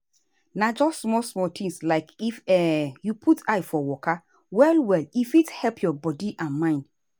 na just small-small things like if um you put eye for waka well well e fit help your body and mind.